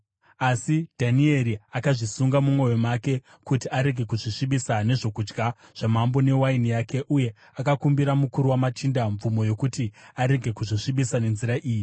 Asi Dhanieri akazvisunga mumwoyo make kuti arege kuzvisvibisa nezvokudya zvamambo newaini yake, uye akakumbira mukuru wamachinda mvumo yokuti arege kuzvisvibisa nenzira iyi.